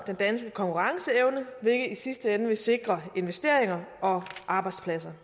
den danske konkurrenceevne hvilket i sidste ende vil sikre investeringer og arbejdspladser